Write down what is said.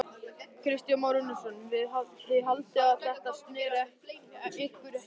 Kristján Már Unnarsson: Þið haldið að þetta snerti ykkur ekki?